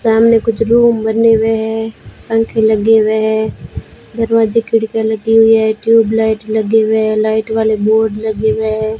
सामने कुछ रूम बने हुए है पंख लगे हुए हैं दरवाजे खिड़कीयां लगी हुई है ट्यूबलाइट लगे हुए लाइट वाले बोर्ड लगे हुए है।